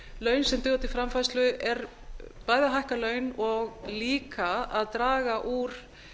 laun sem duga til framfærslu er bæði að hækka laun og líka að draga úr